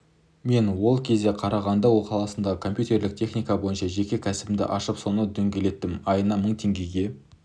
мен ол кезде қарағанды қаласында компьютерлік техника бойынша жеке кәсібімді ашып соны дөңгелеттім айына мың теңгеге